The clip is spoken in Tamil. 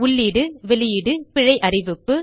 உள்ளீடு வெளியீடு பிழை அறிவிப்பு